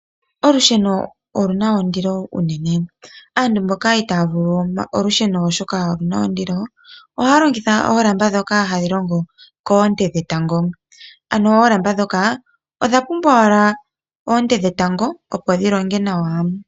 Olusheno oluna ondilo unene. Aantu mboka itaa ya vulu oku longitha olusheno oshoka oluna ondilo, ohaya longitha oolamba ndhoka hadhi longo koonte dhetango. Ano oolamba ndhoka odha pumbwa owala oonte dhetango opo dhi longe nawa.